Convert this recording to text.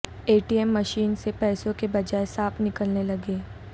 اے T M machine سے پیسوں کے بجائے سانپ نکلنے لگے